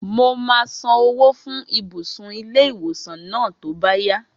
Mo máa san owó fún ibùsùn ilé-ìwòsàn náà tó bá yá